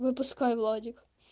выпускай владик